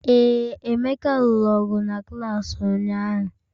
Ee, Emeka lụrụ ọgụ na klaasị ụnyahụ